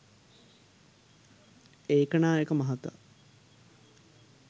ඒකනායක මහතා